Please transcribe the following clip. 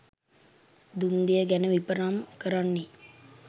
දුන් දෙය ගැන විපරම් කරන්නේ